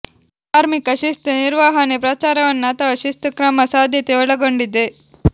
ಕಾರ್ಮಿಕ ಶಿಸ್ತು ನಿರ್ವಹಣೆ ಪ್ರಚಾರವನ್ನು ಅಥವಾ ಶಿಸ್ತು ಕ್ರಮ ಸಾಧ್ಯತೆ ಒಳಗೊಂಡಿದೆ